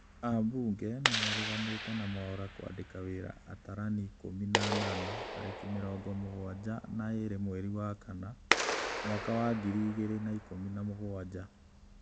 Ambunge nĩmareganĩte na Mwaura kwandĩka wĩra atarani ikũmi na anana tarĩki mĩrongo mũgwanja na ĩrĩ mweri wa kana mwaka wa ngiri igĩrĩ na ikũmi na mũgwanja